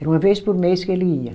Era uma vez por mês que ele ia.